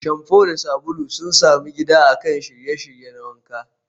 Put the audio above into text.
Shamfu da sabulu sun sami gida akan shiryayye na wanka.